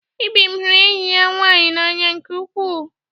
Ibim hụrụ enyi ya nwanyị n'anya nke ukwuu.